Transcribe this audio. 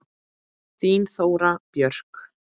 Þín Þóra Björk.